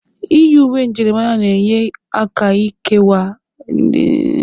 Iyi uwe njirimara na-enye aka ịkewa ndi iche n'etiti otu ụlọ akwụkwọ na ụlọ akwụkwọ ọzọ.